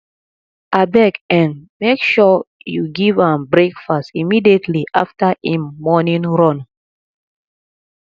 abeg um make sure you give am breakfast immediately after im morning run